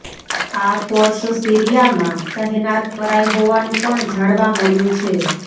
આ ફોર્સ સીરિયામાં તહેનાત કરાઈ હોવાનું પણ જાણવા મળ્યું છે